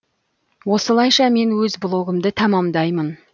осылайша мен өз блогымды тәмәмдаймын